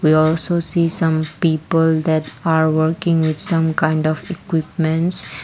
there also see some people that are working with some kind of equipments.